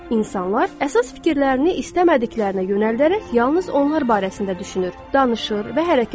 İnsanlar əsas fikirlərini istəmədiklərinə yönəldərək yalnız onlar barəsində düşünür, danışır və hərəkət edir.